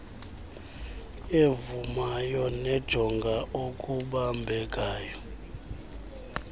evumayo nejonga okubambekayo